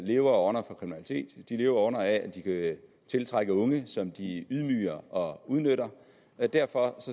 lever og ånder for kriminalitet de lever og ånder for at de kan tiltrække unge som de ydmyger og udnytter og derfor